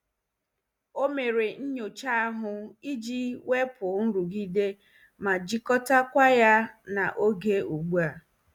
O mere nyocha ahụ iji wepụ nrụgide ma jikọtakwa ya na oge ugbu a.